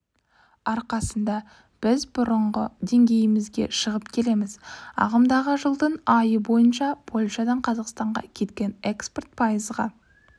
арқасында біз бұрынғы деңгейімізге шығып келеміз ағымдағы жылдың айы бойынша польшадан қазақстанға кеткен экспорт пайызға